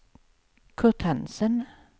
Curt Hansen